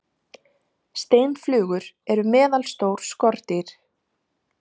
steinflugur eru meðalstór skordýr